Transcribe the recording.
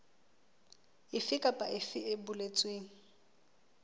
efe kapa efe e boletsweng